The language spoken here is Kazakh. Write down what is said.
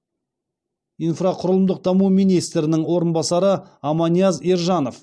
инфрақұрылымдық даму министрінің орынбасары аманияз ержанов